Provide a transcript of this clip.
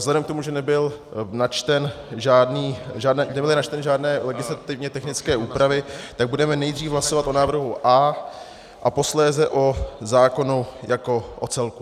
Vzhledem k tomu, že nebyly načteny žádné legislativně technické úpravy, tak budeme nejdřív hlasovat o návrhu A a posléze o zákonu jako o celku.